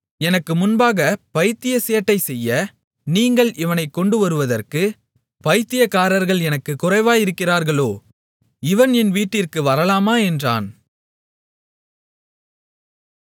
எனக்கு முன்பாகப் பைத்திய சேட்டை செய்ய நீங்கள் இவனைக் கொண்டு வருவதற்கு பைத்தியக்காரர்கள் எனக்குக் குறைவாயிருக்கிறார்களோ இவன் என் வீட்டிற்கு வரலாமா என்றான்